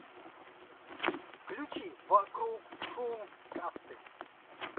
включи вокруг шум касты